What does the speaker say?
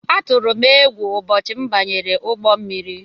Atụrụ m égwu ụbọchị m banyere ụgbọ mmiri.